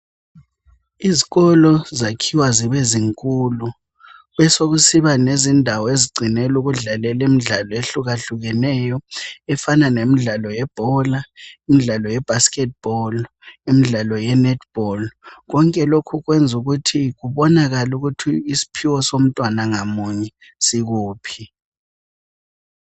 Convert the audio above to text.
Izikolo zakhiwa zibe zinkulu, besekusiba lezindawo ezigcinelwa ukudlalelwa imidlalo ehlukahlukeneyo, efana lebhora, imdlalo ye basketball, imdlalo ye netball, konke lokhu kwenza ukuthi kubonakale ukuthi isiphiwo somntwana ngamunye sikuphi.